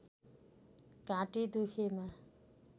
घाँटी दुखेमा